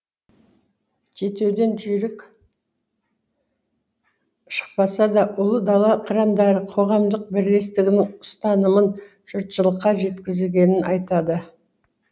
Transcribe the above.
жетеуден жүйрік шықпаса да ұлы дала қырандары қоғамдық бірлестігінің ұстанымын жұртшылыққа жеткізгенін айтады